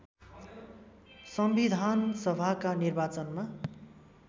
सम्विधानसभाका निर्वाचनमा